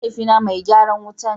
Mahaifi na mai garan wuta ne.